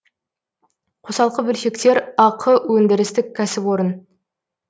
қосалқы бөлшектер ақ өндірістік кәсіпорын